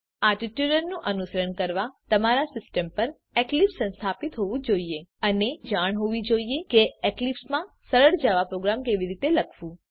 આ ટ્યુટોરીયલનું અનુસરણ કરવા તમારી પાસે તમારી સીસ્ટમ પર એક્લીપ્સ સંસ્થાપિત હોવું જોઈએ અને તમને જાણ હોવી જોઈએ કે એક્લીપ્સમાં સરળ જાવા પ્રોગ્રામ કેવી રીતે લખવું